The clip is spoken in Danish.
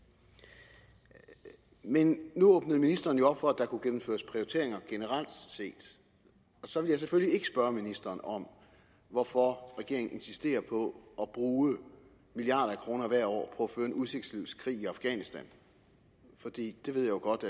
men nu åbnede ministeren jo op for at der kunne gennemføres prioriteringer generelt set og så vil jeg selvfølgelig ikke spørge ministeren om hvorfor regeringen insisterer på at bruge milliarder af kroner hvert år på at føre en udsigtsløs krig i afghanistan fordi jeg jo godt